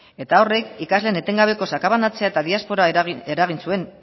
eta horrek ikasleen etengabeko sakabanatzea eta diaspora eragin zuen